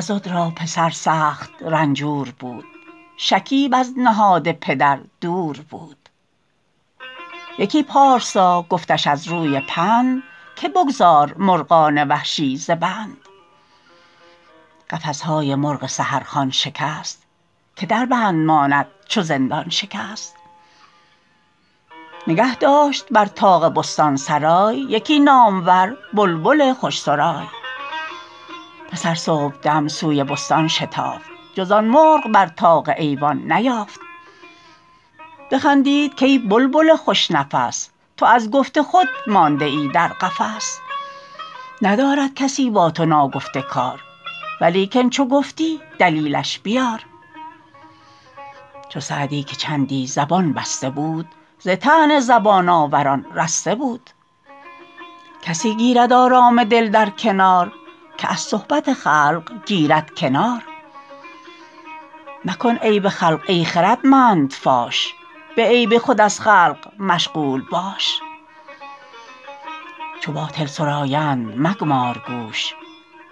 عضد را پسر سخت رنجور بود شکیب از نهاد پدر دور بود یکی پارسا گفتش از روی پند که بگذار مرغان وحشی ز بند قفس های مرغ سحر خوان شکست که در بند ماند چو زندان شکست نگه داشت بر طاق بستان سرای یکی نامور بلبل خوش سرای پسر صبحدم سوی بستان شتافت جز آن مرغ بر طاق ایوان نیافت بخندید کای بلبل خوش نفس تو از گفت خود مانده ای در قفس ندارد کسی با تو ناگفته کار ولیکن چو گفتی دلیلش بیار چو سعدی که چندی زبان بسته بود ز طعن زبان آوران رسته بود کسی گیرد آرام دل در کنار که از صحبت خلق گیرد کنار مکن عیب خلق ای خردمند فاش به عیب خود از خلق مشغول باش چو باطل سرایند مگمار گوش